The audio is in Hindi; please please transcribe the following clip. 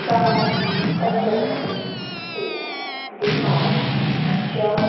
कार एजेंसी की दिखाई जा--